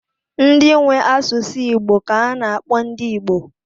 Ndị nwe asụsụ Igbo ka a na-akpọ ndị Igbo.